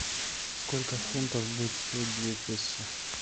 сколько фунтов будет стоить две песо